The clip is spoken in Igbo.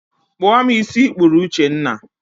Kpụọ m ísí ị kpụrụ Uchenna